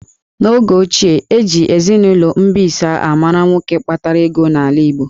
N'oge ochie, eji eninụlọ mbisa a mara nwoke kpatara ego n'ala Igbo